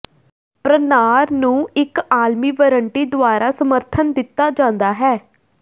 ਪ੍ਰਣਾਰ ਨੂੰ ਇੱਕ ਆਲਮੀ ਵਾਰੰਟੀ ਦੁਆਰਾ ਸਮਰਥਨ ਦਿੱਤਾ ਜਾਂਦਾ ਹੈ